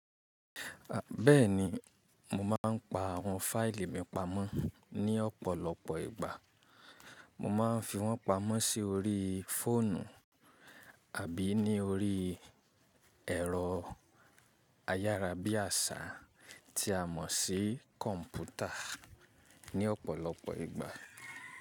Bẹ́ẹ̀ni mo máa ń pa àwọn fáìlì mi pamọ́ ní ọ̀pọ̀lọpọ̀ ìgbà. Mo máa ń fi wọ́n pamọ́ si orii fóònù àbí ní orí ẹ̀rọ ayára bí àsá tí a mọ̀ sí kọ̀ǹpútà ní ọ̀pọ̀lọpọ̀ ìgbà.